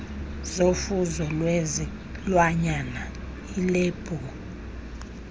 zofuzo lwezilwanyana ilebhu